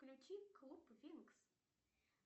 включи клуб винкс